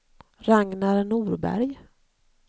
Ragnar Norberg